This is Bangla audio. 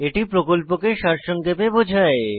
এটি প্রকল্পকে সারসংক্ষেপে বোঝায়